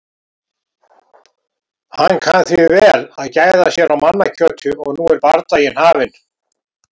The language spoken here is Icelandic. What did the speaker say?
Hann kann því vel að gæða sér á mannakjöti. og nú er bardagi hafinn.